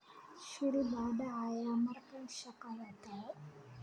shil baa dhacaya markaan shaqada tago